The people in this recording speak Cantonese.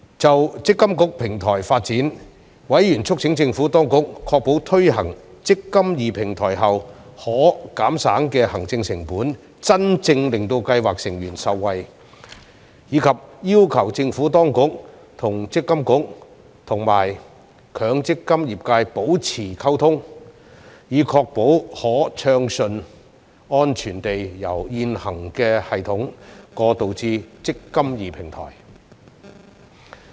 就"積金易"平台的發展，委員促請政府當局確保推行"積金易"平台後可減省的行政成本能真正令計劃成員受惠，以及要求政府當局和強制性公積金計劃管理局與強積金業界保持溝通，以確保可順暢安全地由現行系統過渡至"積金易"平台。